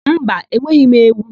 Mba, enweghị m ewu.